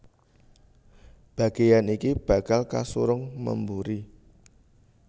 Bagéyan iki bakal kasurung memburi